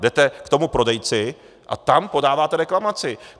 Jdete k tomu prodejci a tam podáváte reklamaci.